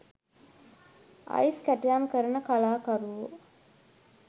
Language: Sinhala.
අයිස් කැටයම් කරන කලාකරුවෝ